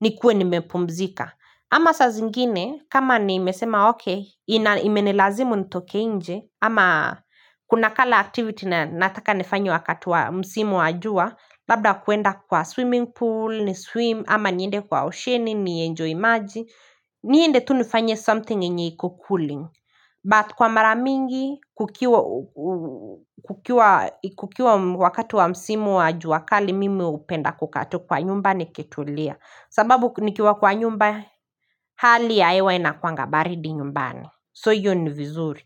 nikuwe nimepumzika. Ama saa zingine, kama nimesema okay, imenilazimu nitoke inje ama kuna kala activity na nataka nifanye wakati wa msimu wa jua labda kuenda kwa swimming pool, ni swim ama niende kwa osheni, nienjoy maji niende tu nifanye something yenye iko kuli But kwa mara mingi, kukiwa wakati wa msimu wa jua kali Mimi upenda kukaa tu kwa nyumba nitulia sababu nikiwa kwa nyumba hali ya ewa inakuwanga baridi nyumbani So hiyo ni vizuri.